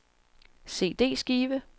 CD-skive